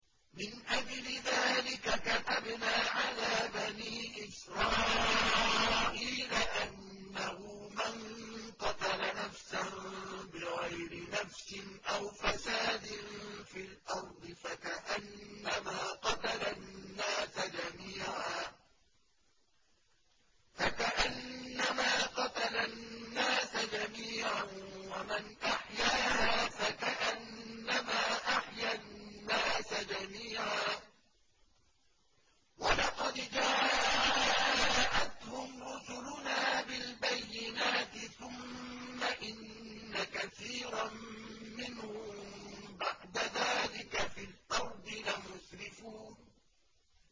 مِنْ أَجْلِ ذَٰلِكَ كَتَبْنَا عَلَىٰ بَنِي إِسْرَائِيلَ أَنَّهُ مَن قَتَلَ نَفْسًا بِغَيْرِ نَفْسٍ أَوْ فَسَادٍ فِي الْأَرْضِ فَكَأَنَّمَا قَتَلَ النَّاسَ جَمِيعًا وَمَنْ أَحْيَاهَا فَكَأَنَّمَا أَحْيَا النَّاسَ جَمِيعًا ۚ وَلَقَدْ جَاءَتْهُمْ رُسُلُنَا بِالْبَيِّنَاتِ ثُمَّ إِنَّ كَثِيرًا مِّنْهُم بَعْدَ ذَٰلِكَ فِي الْأَرْضِ لَمُسْرِفُونَ